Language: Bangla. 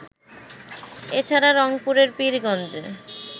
এছাড়া, রংপুরের পীরগঞ্জে